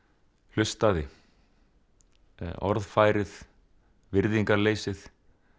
hlustaði orðfærið virðingarleysið